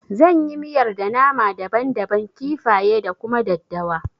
Zan yi miyar da nama daban daban, kifaye da kuma daddawa